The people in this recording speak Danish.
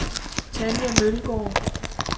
Tanja Mølgaard